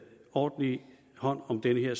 ordentlig hånd om de her